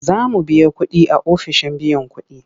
Za mu biya kuɗi a ofishin biyan kuɗi.